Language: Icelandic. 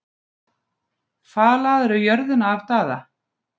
Falaðirðu jörðina af Daða?